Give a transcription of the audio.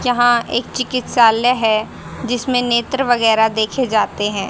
यहां एक चिकित्सालय है जिसमें नेत्र वगैरा देखे जाते हैं।